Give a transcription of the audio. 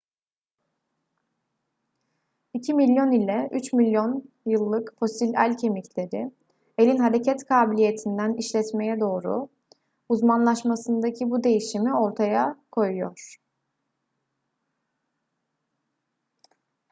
2 milyon ila 3 milyon yıllık fosil el kemikleri elin hareket kabiliyetinden işletmeye doğru uzmanlaşmasındaki bu değişimi ortaya koyuyor